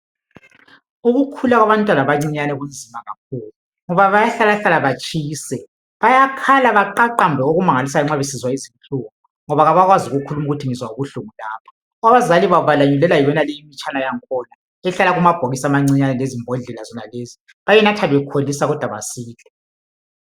Ukukhula kwabantwana abancinyane kunzima kakhulu, ngoba bayahlalahlala batshise. Bayakhala baqaqambe okumangalisayo nxa besizwa izinhlungu, ngoba kabakwazi ukukhuluma ukuthi ngizwa ubuhlungu lapha. Abazali babo, balanyulelwa yiyonale imitshana yankhona, ehlala emabhokisini amancinyane, lezimbodlela zonezi. Bayinatha bekholisa, kodwa basile.